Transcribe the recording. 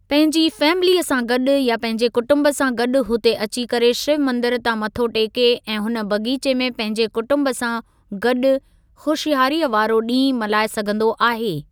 पंहिंजी फैमिलीअ सा गॾु या पंहिंजे कुटुम्ब सां गॾु हुते अची करे शिव मंदिर तां मथो टेके ऐं हुन बग़ीचे में पंहिंजे कुटुम्ब सां गॾु खु़शियारीअ वारो ॾींहुं मल्हाए सघंदो आहे।